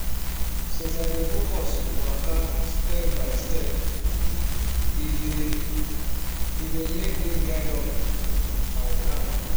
since i dey focus waka step by step e dey e dey make me guard up and calm